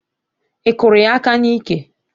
Ị kụrụ ya aka n'iké?